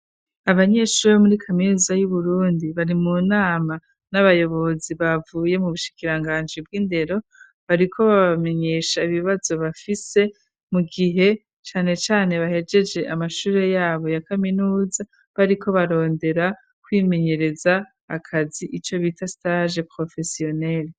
Abanyeshuri bo muri kaminuza y'uburundi bari mu nama n'abayobozi bavuye mu bushikiranganji bw'indero bariko babamenyesha ibibazo bafise mu gihe cane cane bahejeje amashure yabo ya kaminuza bariko barondera kwimenyereza akazi ico bita stage professionel.